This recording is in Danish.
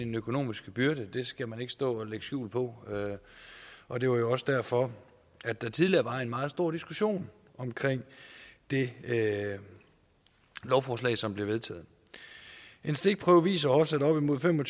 en økonomisk byrde det skal man ikke stå og lægge skjul på og det var jo også derfor at der tidligere var en meget stor diskussion om det det lovforslag som blev vedtaget en stikprøve viser også at op mod fem og